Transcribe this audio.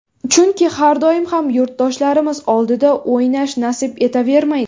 Chunki har doim ham yurtdoshlarimiz oldida o‘ynash nasib etavermaydi.